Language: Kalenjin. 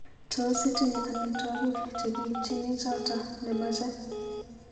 Tos itinye amitwogik chegiipchini choto nemache